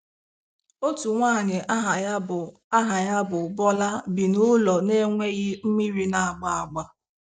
Otu nwanyị aha ya bụ aha ya bụ Bola bi n'ụlọ na-enweghị mmiri na-agba agba.